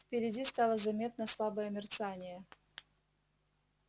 впереди стало заметно слабое мерцание